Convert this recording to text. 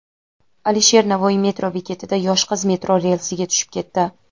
Alisher Navoiy metro bekatida yosh qiz metro relsiga tushib ketdi.